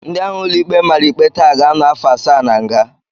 Ndị ahụ ụlọikpe mara ikpe taa ga-anọ afọ asaa na nga